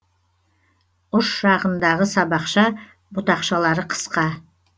ұш жағындағы сабақша бұтақшалары қысқа